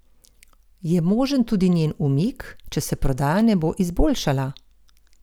Je možen tudi njen umik, če se prodaja ne bo izboljšala?